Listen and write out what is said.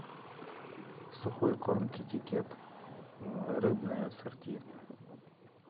сухой корм китикет рыбное ассорти